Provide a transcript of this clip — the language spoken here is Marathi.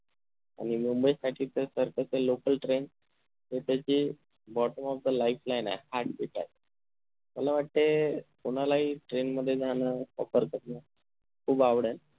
आणि मुंबई साठी तर खरतर local train हे तर त्याची bottom of the lifeline आहे heartbeat मला वाटतंय कोणालाही train मध्ये जाण offer करण खूप आवडेल खूप आवडल